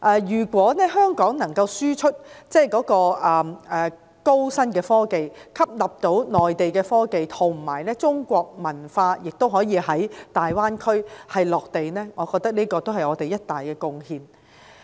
如果香港能夠輸出高新科技，並吸納內地科技，讓中國文化在大灣區着地，我覺得是我們的一大貢獻。